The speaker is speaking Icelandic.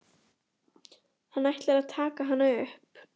Hann ætlar að taka hana upp.